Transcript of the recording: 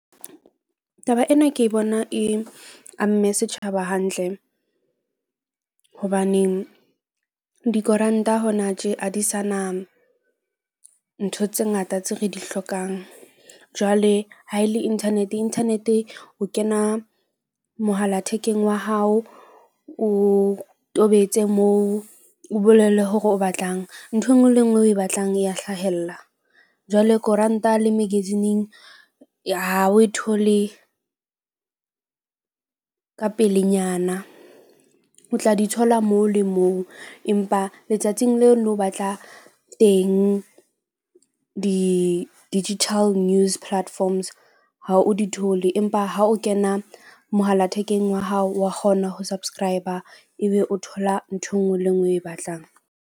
Taba ena ke bona e amme setjhaba hantle. Hobaneng dikoranta hona tje a di sana ntho tse ngata tseo re di hlokang. Jwale ha e le internet, internet o kena mohala thekeng wa hao, o tobetse moo, o bolelle hore o batlang. Nthwe e nngwe le e nngwe o e batlang, e ya hlahella. Jwale koranta le magazine-eng, ha o e thole ka pelenyana. O tla di thola moo le moo empa letsatsing leo o no batla teng di-digital news platforms ha o di thole. Empa ha o kena mohala thekeng wa hao wa kgona ho subscriber, ebe o thola ntho e nngwe le e nngwe o e batlang.